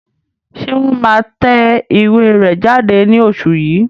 Ṣé wọ́n máa tẹ ìwé rẹ̀ jáde ní oṣù yìí?